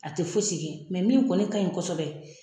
A tɛ fosi kɛ min kɔni ka ɲi kosɛbɛ.